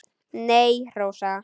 Nei, Rósa.